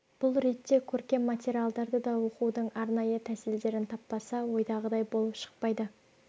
бұл ретте көркем материалдарды да оқудың арнайы тәсілдерін таппаса ойдағыдай болып шықпайды